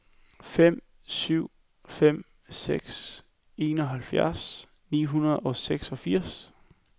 fem syv fem seks enoghalvfjerds ni hundrede og seksogfirs